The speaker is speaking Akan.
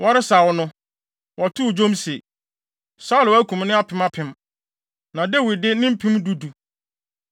Wɔresaw no, wɔtoo dwom se: Saulo akum ne apem apem, na Dawid de ne mpem du du!